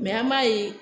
an b'a ye